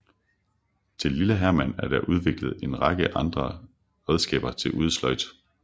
Til Lille Herman er der udviklet en række andre redskaber til udesløjd